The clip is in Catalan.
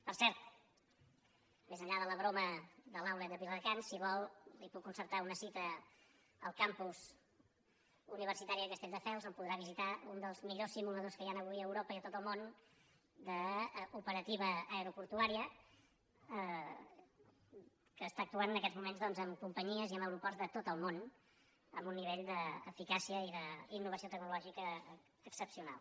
per cert més enllà de la broma de l’si vol li puc concertar una cita al campus universitari de castelldefels on podrà visitar un dels millors simu·ladors que hi han avui a europa i a tot el món d’opera·tiva aeroportuària que actua en aquests moments amb companyies i en aeroports de tot el món amb un ni·vell d’eficàcia i d’innovació tecnològica excepcional